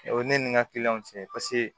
O ye ne ni n ka cɛ paseke